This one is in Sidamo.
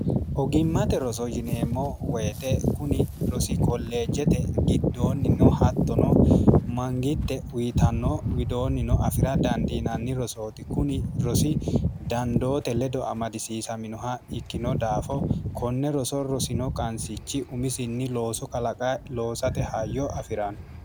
ogimmate roso yineemmo woyite kuni rosi kolleejjete giddoonnino hattono mangitte uyitanno widoonnino afira dandiinanni rosooti kuni rosi dandoote ledo amadisiisaminoha ikkino daafo konne roso rosino qansichi umisinni loosu kalaqa loosate hayyo afi'ranno